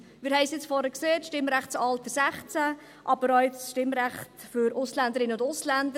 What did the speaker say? Wir haben es vorhin beim Stimmrechtsalter 16 gesehen, aber auch beim Stimmrecht für Ausländerinnen und Ausländer: